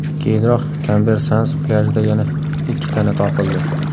Keyinroq Kamber Sands plyajida yana ikki tana topildi.